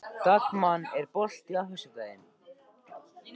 Dagmann, er bolti á föstudaginn?